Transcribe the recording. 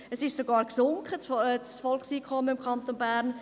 Es ist sogar gesunken, das Volkseinkommen im Kanton Bern.